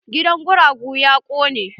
Gidan guragu ya kone.